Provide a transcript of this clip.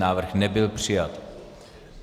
Návrh nebyl přijat.